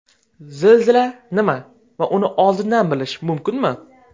Zilzila nima va uni oldindan bilish mumkinmi?